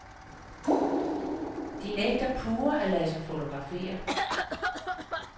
De nægter pure at lade sig fotografere.